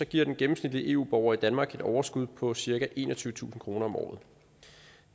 giver den gennemsnitlige eu borger i danmark et overskud på cirka enogtyvetusind kroner om året